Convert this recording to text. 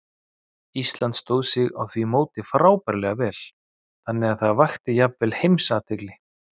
Ísland stóð sig á því móti frábærlega vel, þannig að það vakti jafnvel alheimsathygli.